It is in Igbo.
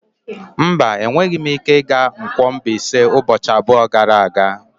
Mba, enweghị m ike ịga Nkwo-Mbaise ụbọchị abụọ gara aga.